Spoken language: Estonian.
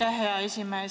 Aitäh, hea esimees!